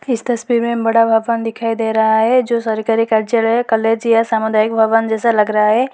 इस तस्वीर में बड़ा भवन दिखाई दे रहा है जो सरकारी कारजाले कॉलेज या सामुदायिक भवन जैसा लग रहा है।